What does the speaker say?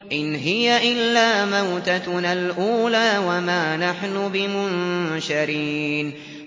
إِنْ هِيَ إِلَّا مَوْتَتُنَا الْأُولَىٰ وَمَا نَحْنُ بِمُنشَرِينَ